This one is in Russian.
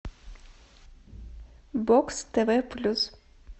бокс тв плюс